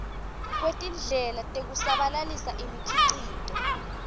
kwetindlela tekusabalalisa imikhicito